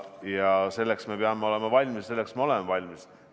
Ja selleks me peame olema valmis, selleks me oleme valmis.